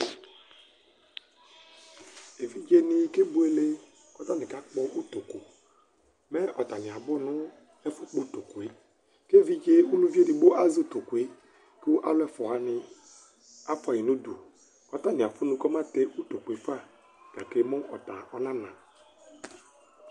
evidzeni kebuele k'atani kakpɔ utoku mɛ atani abó no ɛfo kpɔ utokue k'evidze uluvi edigbo azɛ utokue ko alo ɛfua wani afua yi n'udu k'atani afu no kama tɛ utokue fa gake mɛ ɔta ɔna na